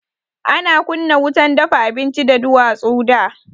Ana kunna wutan dafa abinci da duwatsu da.